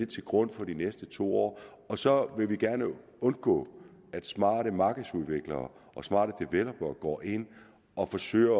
til grund for de næste to år så vil vi gerne undgå at smarte markedsudviklere og smarte developere går ind og forsøger